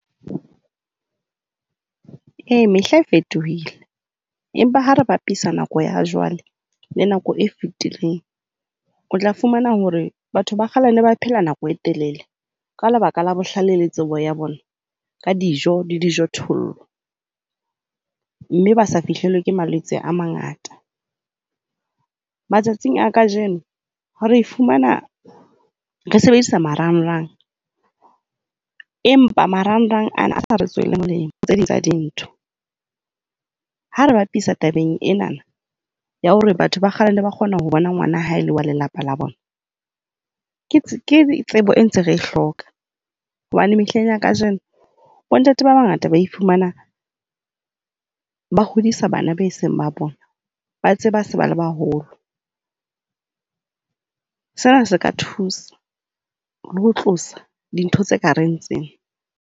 E, mehla e fetohile, empa ha re bapisa nako ya jwale le nako e fetileng, o tla fumana hore batho ba kgale ba ne phela nako e telele. Ka lebaka la bohlale le tsebo ya bona ka dijo le dijothollo, mme ba sa fihlelwe ke malwetse a mangata. Matsatsing a kajeno re fumana re sebedisa marangrang, empa marangrang ana a sa re tswele molemo ho tse ding tsa dintho. Ha re bapisa tabeng ena ya hore batho ba kgale ba ne ba kgona ho bona ngwana ha ele wa lelapa la bona, ke tsebo eo re ntseng re e hloka. Hobane mehleng ya kajeno bontate ba bangata ba iphumana ba hodisa bana bao e seng ba bona, ba tseba ha ba se ba le baholo. Sena se ka thusa le ho tlosa dintho tse kareng tsena.